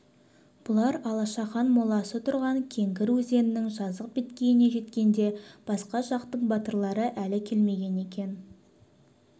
бұлар алашахан моласы тұрған кеңгір өзенінің жазық беткейіне жеткенде басқа жақтың батырлары әлі келмеген екен